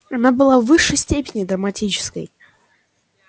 она была в высшей степени драматической